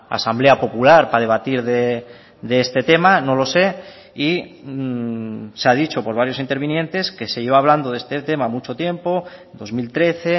asamblea popular para debatir de este tema no lo sé y se ha dicho por varios intervinientes que se lleva hablando de este tema mucho tiempo dos mil trece